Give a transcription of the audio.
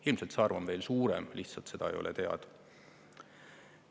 Ilmselt see arv on veel suurem, lihtsalt seda ei ole teada.